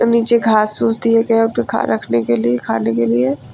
और नीचे घास फूस दिए गए रखने के लिए खाने के लिए।